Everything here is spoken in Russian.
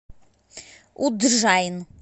удджайн